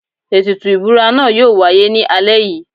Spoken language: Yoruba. Ètùtù ìbúra náà yóò wáyé ní alẹ́ yìí.